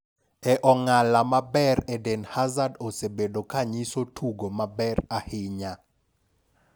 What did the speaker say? E ong'ala maber Eden Hazard osebedo kanyiso tugo maber ahinya.